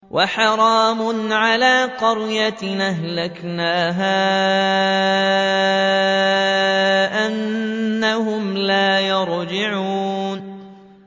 وَحَرَامٌ عَلَىٰ قَرْيَةٍ أَهْلَكْنَاهَا أَنَّهُمْ لَا يَرْجِعُونَ